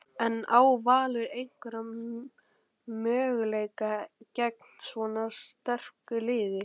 En á Valur einhvern möguleika gegn svona sterku liði?